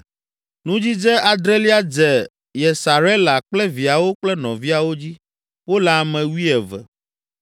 Nudzidze adrelia dze Yesarela kple viawo kple nɔviawo dzi; wole ame wuieve.